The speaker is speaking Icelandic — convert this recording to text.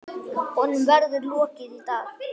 Honum verður lokið í dag.